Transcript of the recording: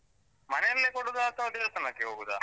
ಮನೆಲ್ಲೇ ಕೊಡುದಾ ಅಥವಾ ದೇವಸ್ಥಾನಕ್ಕೆ ಹೋಗುದಾ?